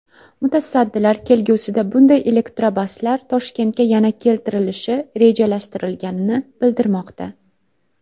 Mutasaddilar kelgusida bunday elektrobuslar Toshkentga yana keltirilishi rejalashtirilganini bildirmoqda.